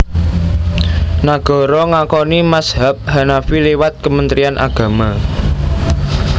Nagara ngakoni mazhab Hanafi liwat Kementrian Agama